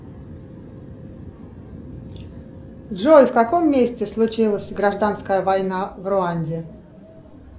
джой в каком месте случилась гражданская война в руанде